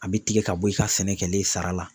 A bɛ tigɛ ka bɔ i ka sɛnɛ kɛlen sara la.